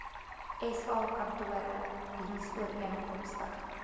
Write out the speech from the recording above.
sa kantore dienooreenkomstig